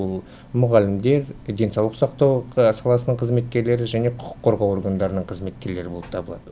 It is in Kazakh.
ол мұғалімдер денсаулық сақтау саласының қызметкерлері және құқық қорғау органдарының қызметкерлері болып табылады